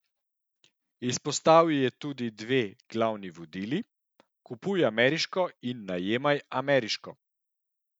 Izpostavil je tudi dve glavni vodili: "Kupuj ameriško in najemaj ameriško".